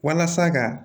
Walasa ka